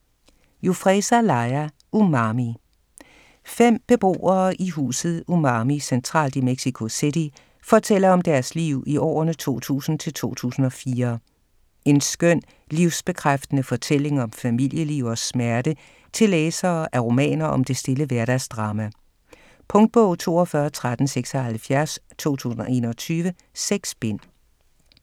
Jufresa, Laia: Umami Fem beboere i huset Umami, centralt i Mexico City, fortæller om deres liv i årene 2000-2004. En skøn, livsbekræftende fortælling om familieliv og smerte til læsere af romaner om det stille hverdagsdrama. Punktbog 421376 2021. 6 bind.